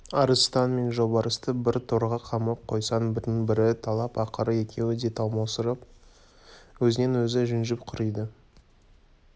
арыстан мен жолбарысты бір торға қамап қойсаң бірін-бірі талап ақыры екеуі де талмаусырап өзінен-өзі жүнжіп құриды